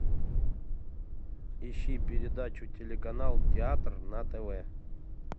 ищи передачу телеканал театр на тв